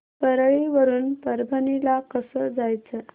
परळी वरून परभणी ला कसं जायचं